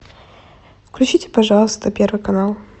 включите пожалуйста первый канал